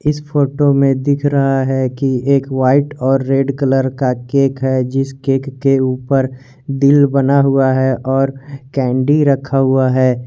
इस फोटो में दिख रहा है कि एक वाईट और रेड कलर का केक है जिस केक के ऊपर दिल बना हुआ है और कैंडी रखा हुआ है।